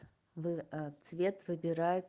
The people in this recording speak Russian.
вы цвет выбирают